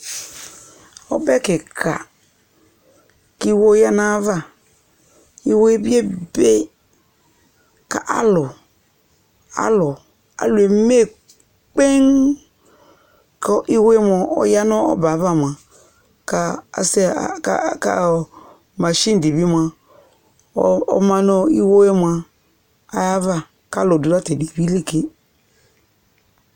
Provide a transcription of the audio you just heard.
Ɔbɛ kɩka kʋ iwo yǝ nʋ ayava Iwo yɛ bɩ ebe kʋ alʋ alʋ alʋ eme kpeŋ kʋ iwo yɛ mʋa, ɔya nʋ ɔbɛ yɛ ava mʋa, ka sɛ ka ɔ ɔ masin dɩ bɩ mʋa, ɔ ɔma nʋ ɔ iwo yɛ mʋa ayava kʋ alʋ dʋ ta tʋ ɛdɩ yɛ bɩ li ke